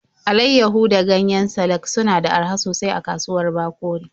Alaiyahu da ganyen salak suna da araha sosai a kasuwar Bakori.